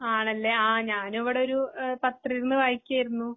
ആണല്ലെആ ഞാനിവിടൊരു ഏഹ് പത്രവിരുന്ന് വായിക്കയാരുന്നു.